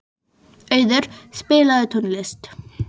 Auður, spilaðu tónlist.